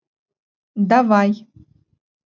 давай